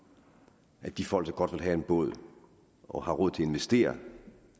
at de folk som godt vil have en båd og har råd til at investere